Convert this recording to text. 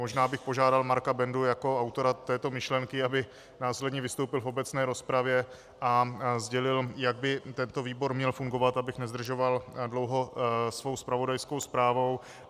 Možná bych požádal Marka Bendu jako autora této myšlenky, aby následně vystoupil v obecné rozpravě a sdělil, jak by tento výbor měl fungovat, abych nezdržoval dlouho svou zpravodajskou zprávou.